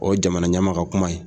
O ye jamanaɲɛma ka kuma ye